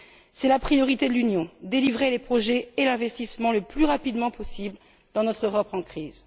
C'est la priorité de l'Union réaliser les projets et l'investissement le plus rapidement possible dans notre Europe en crise.